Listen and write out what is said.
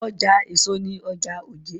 Ọjà èso ni ọjà òjé.